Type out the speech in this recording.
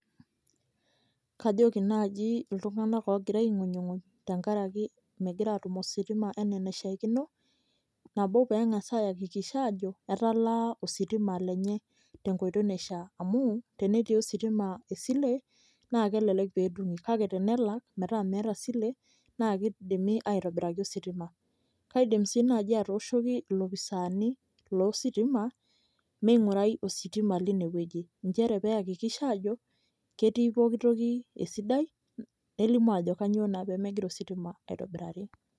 kajoki naaji iltunganak oogira aing'unying'uny, tenkaraki megira aatum ositima anaa enaishaakino. nabo pee engasa ayakikisha aajo etalaa ositima lenye tenkoitoi naishaa. amu tenetii ositima esile. naa kelelek pee etumi, kake tenelak metaa meeta esile naa kidimi aitobiraki ositima, kaidim sii naaji atooshoki ilopisaani lo sitima ming'urai ositima leine wueji. nchere pee eyekikisha ajo ketii pooki toki esidai, nelimu ajo kainyioo naa pee megira ositima aitobirari.